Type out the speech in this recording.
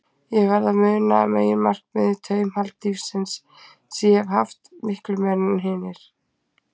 Ég verð að muna meginmarkmiðið: taumhald lífsins, sem ég hef haft, miklu meira en hinir.